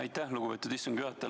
Aitäh, lugupeetud istungi juhataja!